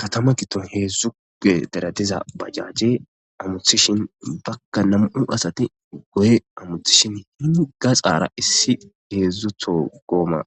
katama kiton heedzdzuge deratiza bajajje amuthishin bakka nam7u asati goye amuthishin hini ga xaara issi heedzdzutho gooma